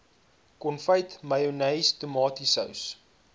konfyt mayonnaise tomatiesous